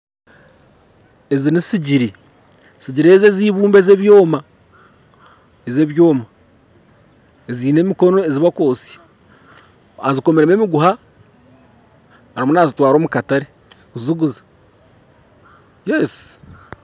Ezi n'esigiri, sigiri ezi ez'eibumba ez'ebyoma ez'ebyoma ezine emikono ezibarikwotsya azikomiremu emiguha arimu nazitwara omu katare kuziguza.